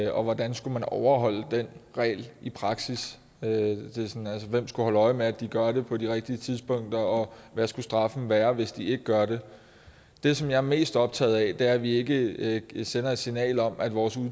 og hvordan skulle man overholde den regel i praksis hvem skulle holde øje med at de gør det på de rigtige tidspunkter og hvad skulle straffen være hvis de ikke gør det det som jeg er mest optaget af er at vi ikke sender et signal om at vores